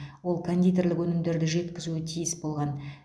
ол кондитерлік өнімдерді жеткізуі тиіс болған